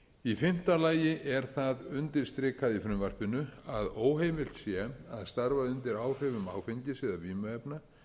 í fimmta lagi er það undirstrikað í frumvarpinu að óheimilt sé að starfa undir áhrifum áfengis eða vímuefna